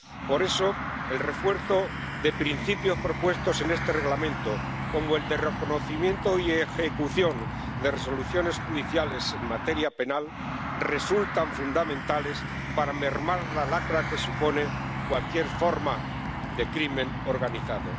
Por eso, el refuerzo de principios propuestos en este Reglamento, como el de reconocimiento y ejecución de resoluciones judiciales en materia penal, resultan fundamentales para mermar la lacra que supone cualquier forma de crimen organizado.